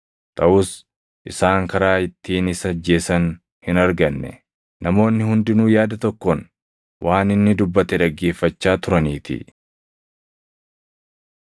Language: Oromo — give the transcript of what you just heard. Taʼus isaan karaa ittiin isa ajjeesan hin arganne; namoonni hundinuu yaada tokkoon waan inni dubbate dhaggeeffachaa turaniitii.